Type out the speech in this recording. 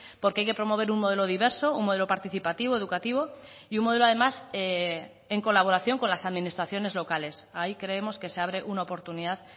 porque hay que promover un modelo diverso un modelo participativo educativo y un modelo además en colaboración con las administraciones locales ahí creemos que se abre una oportunidad